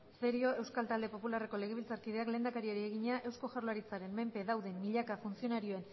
cerio euskal talde popularreko legebiltzarkideak lehendakariari egina eusko jaurlaritzaren menpe dauden milaka funtzionarioen